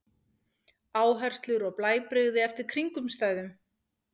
Áherslur og blæbrigði eftir kringumstæðum.